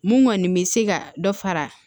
Mun kɔni bɛ se ka dɔ fara